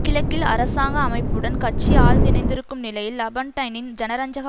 கிழக்கில் அரசாங்க அமைப்புடன் கட்சி ஆழ்ந்து இணைந்திருக்கும் நிலையில் லாபொன்டைனின் ஜனரஞ்சக